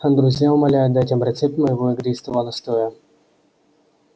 а друзья умоляют дать им рецепт моего игристого настоя